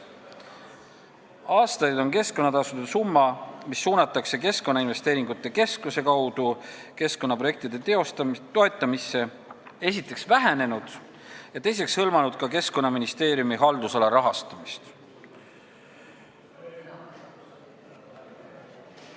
Aastaid on keskkonnatasude summa, mis suunatakse Keskkonnainvesteeringute Keskuse kaudu keskkonnaprojektide toetamisse, esiteks vähenenud ja teiseks hõlmanud ka Keskkonnaministeeriumi haldusala rahastamist.